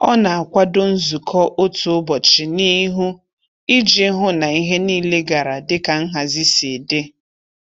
Ọ na-akwado nzukọ otu ụbọchị n'ihu iji hụ na ihe niile gara dịka nhazi si dị.